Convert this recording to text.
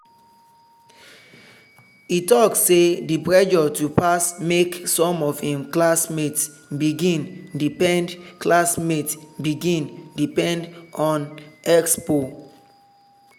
e talk say the pressure to pass make some of im classmates begin depend classmates begin depend on expo.